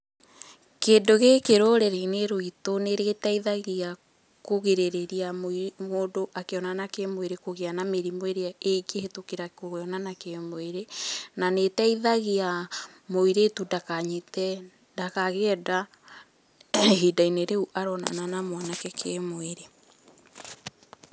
Kĩndũ gĩkĩ rũrĩrĩ-inĩ rwitũ nĩ gĩteithagia kũgirĩrĩria mũndũ akĩonana kĩmwĩrĩ kũgĩa na mĩrimũ ĩrĩa ĩngĩhĩtũkĩra kuonana kĩmwĩrĩ, na nĩ ĩteithagia mũirĩtu ndakanyite, ndakagĩe nda ihinda-inĩ rĩu aronana na mwanake kĩmwĩrĩ.